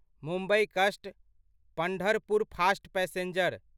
मुम्बई कस्ट Pandharpur fast passenger